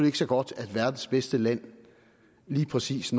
ikke så godt at verdens bedste land når lige præcis